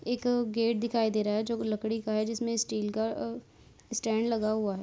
एक गेट दिखाई दे रहा है जो की लकडी का है। जिसमे स्टील का अ स्टैन्ड लगा हुआ है।